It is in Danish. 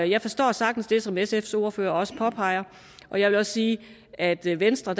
jeg forstår sagtens det som sfs ordfører også påpeger og jeg vil også sige at vi i venstre